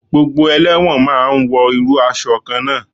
Gbogbo elẹ́wọ̀n ma ń wọ irú aṣọ kan náà.